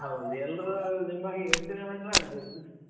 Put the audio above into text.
ಹೌದು ಎಲ್ರು ನಿಮ್ಮ ಹಾಗೆ ಯೋಚನೆ ಮಾಡಿದ್ರೆ ಆಗ್ಬಹುದು .